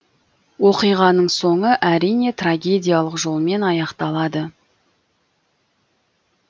оқиғаның соңы әрине трагедиялық жолмен аяқталады